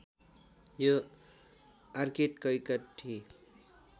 यो orchid cacti